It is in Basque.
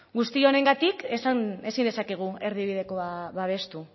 guzti honengatik ezin dezakegu erdibidekoa babestu